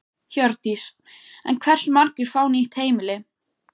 Hjördís: En hversu margir fá nýtt heimili?